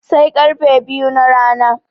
Sai karfe biyu na rana